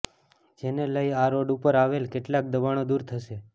જેને લઈ આ રોડ ઉપર આવેલ કેટલાક દબાણો દૂર થશે